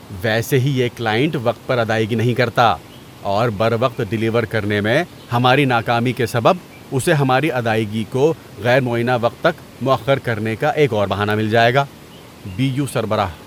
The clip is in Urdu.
ویسے ہی یہ کلائنٹ وقت پر ادائیگی نہیں کرتا اور بروقت ڈیلیور کرنے میں ہماری ناکامی کے سبب اسے ہماری ادائیگی کو غیر معینہ وقت تک مؤخر کرنے کا ایک اور بہانہ مل جائے گا۔ (بی یو سربراہ)